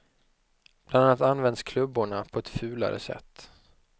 Bland annat används klubborna på ett fulare sätt.